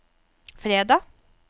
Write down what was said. fredag